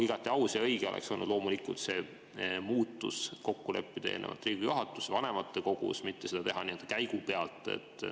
Igati aus ja õige oleks olnud loomulikult see muutus kokku leppida eelnevalt Riigikogu juhatuses ja vanematekogus, mitte seda teha nii-öelda käigu pealt.